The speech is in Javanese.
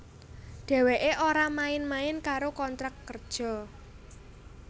Dheweké ora main main karo kontrak kerja